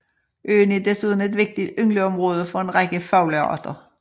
Øen er desuden et vigtigt yngleområde for en række fuglearter